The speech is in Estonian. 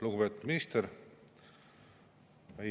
Lugupeetud minister!